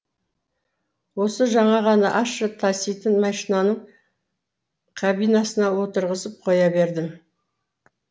осы жаңа ғана ащы таситын машинаның кабинасына отырғызып қоя бердім